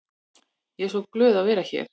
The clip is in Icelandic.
Ég er svo glöð að vera hér.